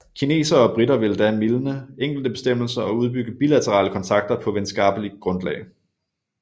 Kinesere og briter ville da mildne enkelte bestemmelser og udbygge bilaterale kontakter på venskapelig grundlag